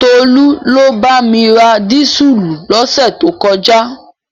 Tolú ló bá mi ra dísùlù lọ́sẹ̀ tó kọjá.